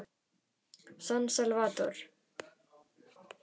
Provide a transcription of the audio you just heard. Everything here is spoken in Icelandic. San Salvador